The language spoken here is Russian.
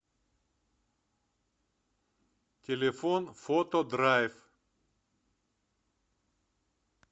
телефон фотодрайв